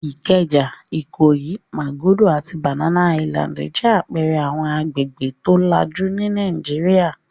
Ìkẹjà, Ìkòyí, Màgódō àti Banana Island jẹ́ àpẹẹrẹ àwọn agbègbè tó lajú ní Nàìjíríà.